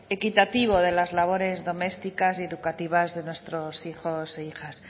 equitativo de las labores domésticas y educativas de nuestros hijos e hijas